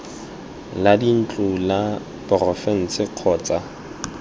la dintlo la porofense kgotsa